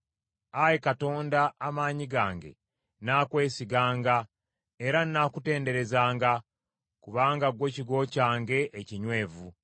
Ayi Katonda, Amaanyi gange, nnaakwesiganga era nnaakutenderezanga, kubanga ggwe kigo kyange ekinywevu.